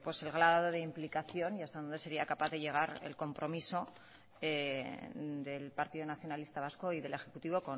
el grado de implicación y hasta dónde sería capaz de llegar el compromiso del partido nacionalista vasco y del ejecutivo